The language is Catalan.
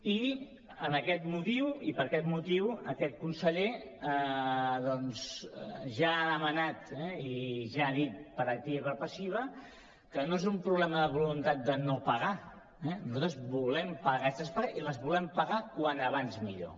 i per aquest motiu aquest conseller doncs ja ha demanat i ja ha dit per activa i per passiva que no és un problema de voluntat de no pagar eh nosaltres volem pagar aquestes pagues i les volem pagar com més aviat millor